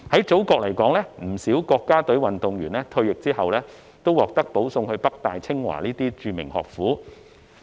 祖國不少國家隊運動員在退役後，均獲保送至北大、清華等著名學府就讀。